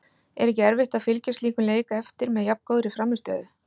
Er ekki erfitt að fylgja slíkum leik eftir með jafn góðri frammistöðu?